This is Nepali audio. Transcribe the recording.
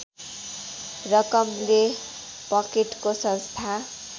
रकमले पकेटको संस्था